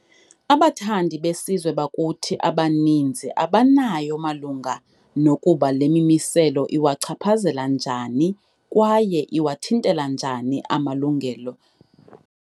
Abathandi besizwe bakuthi abaninzi abanayo malunga nokuba le mimiselo iwachaphazela njani kwaye iwathintela njani na amalungelo.